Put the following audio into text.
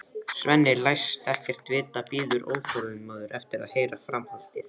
Svenni læst ekkert vita, bíður óþolinmóður eftir að heyra framhaldið.